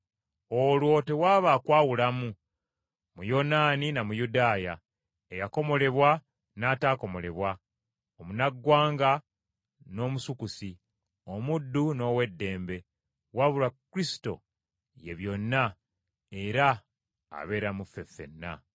Olwo tewaba kwawulamu, Muyonaani na Muyudaaya, eyakomolebwa n’ataakomolebwa, Omunnaggwanga, n’Omusukusi, omuddu n’ow’eddembe, wabula Kristo ye byonna, era abeera mu ffe ffenna.